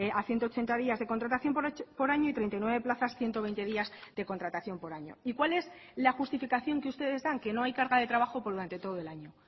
a ciento ochenta días de contratación por año y treinta y nueve plazas ciento veinte días de contratación por año y cuál es la justificación que ustedes dan que no hay carga de trabajo durante todo el año